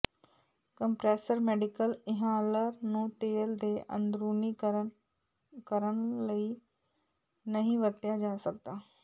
compressor medical inhaler ਨੂੰ ਤੇਲ ਦੇ ਅੰਦਰੂਨੀਕਰਨ ਕਰਨ ਲਈ ਨਹੀਂ ਵਰਤਿਆ ਜਾ ਸਕਦਾ